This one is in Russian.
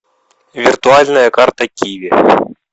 виртуальная карта киви